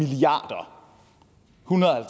hundrede og